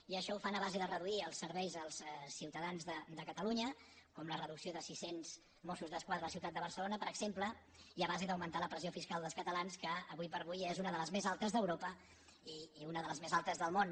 i això ho fan a base de reduir els serveis als ciutadans de catalunya com la reducció de sis cents mossos d’esquadra a la ciutat de barcelona per exemple i a base d’augmentar la pressió fiscal dels catalans que ara com ara és una de les més altes d’europa i una de les més altes del món